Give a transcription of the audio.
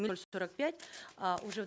ноль сорок пять а уже